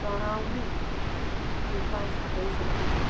તણાવમુક્ત વિકાસ થઈ શકે છે